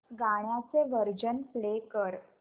गाण्याचे version play कर